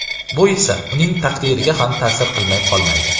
Bu esa uning taqdiriga ham ta’sir qilmay qolmaydi.